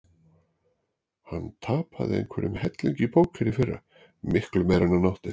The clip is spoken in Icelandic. Hann tapaði einhverjum helling í póker í fyrra, miklu meira en hann átti.